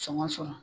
Sɔngɔ sɔrɔ